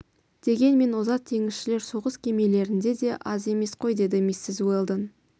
дегенмен озат теңізшілер соғыс кемелерінде де аз емес қой деді миссис уэлдон